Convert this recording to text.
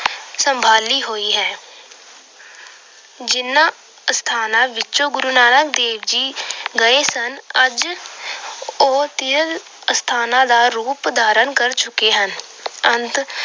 ਸੰਭਾਲੀ ਹੋਈ ਹੈ। ਜਿਹਨਾਂ ਅਸਥਾਨਾਂ ਵਿੱਚ ਗੁੁਰੂ ਨਾਨਕ ਦੇਵ ਜੀ ਗਏ ਸਨ, ਅੱਜ ਉਹ ਤੀਰਥ ਸਥਾਨਾਂ ਦਾ ਰੂਪ ਧਾਰਨ ਕਰ ਚੁੱਕੇ ਹਨ। ਅੰਤ